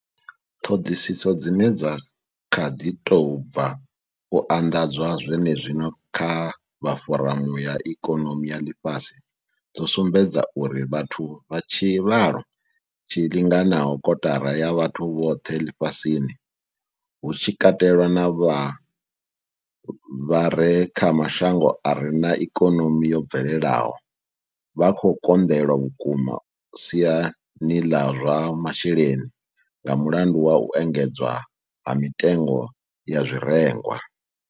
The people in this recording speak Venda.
Ṱhoḓisiso dzine dza kha ḓi tou bva u anḓadzwa zwenezwino kha vha foramu ya ikonomi ya Ḽifhasi dzo sumbedza uri vhathu vha tshivhalo tshi linganaho kotara ya vhathu vhoṱhe ḽifhasini, hu tshi katelwa na vha vha re kha mashango a re na ikonomi yo bvelelaho, vha khou konḓelwa vhukuma siani ḽa zwa masheleni nga mulandu wa u engedzea ha mitengo ya zwirengwa.